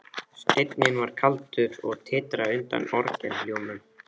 Steinninn var kaldur og titraði undan orgelhljómum.